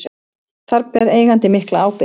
Þar beri eigandi mikla ábyrgð.